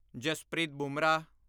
Jaspreet Bumrah